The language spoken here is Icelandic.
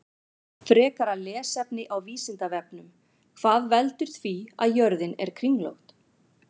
Frekara lesefni á Vísindavefnum: Hvað veldur því að jörðin er kringlótt?